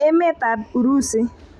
Emetab Urusi.